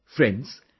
Friends,